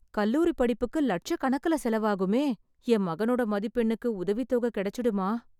கல்லூரிப்படிப்புக்கு லட்சக்கணக்கில் செலவாகுமே... என் மகனோட மதிப்பெண்ணுக்கு உதவித் தொகை கெடைச்சிடுமா?